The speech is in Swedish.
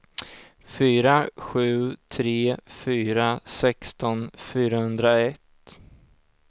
fyra sju tre fyra sexton fyrahundraett